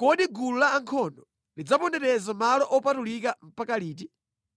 Kodi gulu la ankhondo lidzapondereza malo opatulika mpaka liti?”